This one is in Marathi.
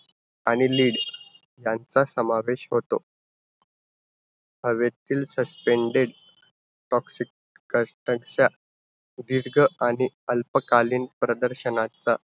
आणि lead यांचा समावेश होतो. हवेतील suspended toxic content चा दीर्घ आणि अल्पकालीन प्रदर्शनाचा